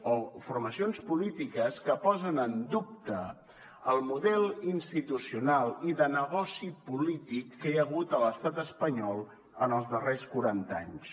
o formacions polítiques que posen en dubte el model institucional i de negoci polític que hi ha hagut a l’estat espanyol en els darrers quaranta anys